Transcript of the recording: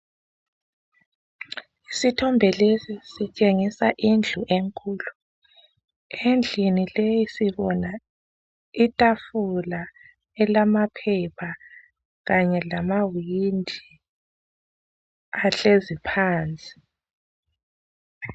Isithombe lesi sisitshengisa indlu enkulu. Endlini leyi sibona itafula elamaphepha kanye lamawindi ahlezi phansi.